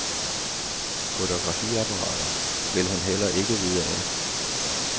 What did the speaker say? Fotografiapparater vil hun heller ikke vide af.